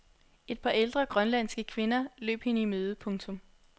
Et par ældre grønlandske kvinder løb hende i møde. punktum